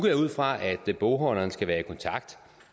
jeg ud fra at bogholderen skal være i kontakt